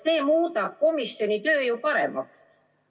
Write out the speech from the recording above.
Sest see muudab ju komisjoni töö paremaks.